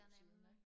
ja nemlig